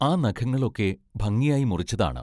ആ നഖങ്ങളൊക്കെ ഭംഗിയായി മുറിച്ചതാണ്.